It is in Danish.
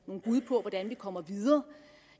bud på hvordan vi kommer videre